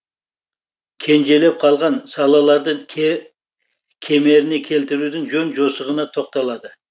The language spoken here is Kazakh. кенжелеп қалған салаларды кемеріне келтірудің жөн жосығына тоқталады